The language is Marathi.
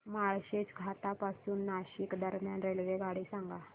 माळशेज घाटा पासून नाशिक दरम्यान रेल्वेगाडी सांगा